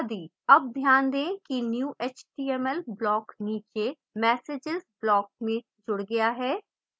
अब ध्यान दें कि new html block नीचे messages block में जुड़ गया है